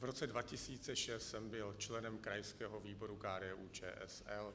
V roce 2006 jsem byl členem krajského výboru KDU-ČSL.